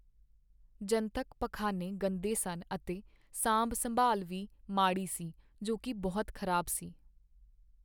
ਜਨਤਕ ਪਖਾਨੇ ਗੰਦੇ ਸਨ ਅਤੇ ਸਾਂਭ ਸੰਭਾਲ ਵੀ ਮਾੜੀ ਸੀ, ਜੋ ਕਿ ਬਹੁਤ ਖ਼ਰਾਬ ਸੀ